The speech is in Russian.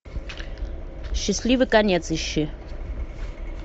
счастливый конец ищи